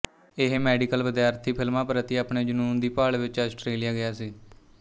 ਇਹ ਮੈਡੀਕਲ ਵਿਦਿਆਰਥੀ ਫ਼ਿਲਮਾਂ ਪ੍ਰਤੀ ਆਪਣੇ ਜਨੂੰਨ ਦੀ ਭਾਲ ਵਿੱਚ ਆਸਟਰੇਲੀਆ ਗਿਆ ਸੀ